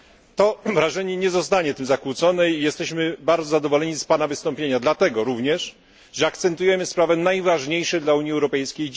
To wrażenie nie zostanie tym zakłócone i jesteśmy bardzo zadowoleni z Pana wystąpienia, dlatego również, że akcentujemy sprawy najważniejsze dziś dla Unii Europejskiej.